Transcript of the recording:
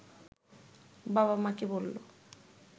বাবা-মাকে বলল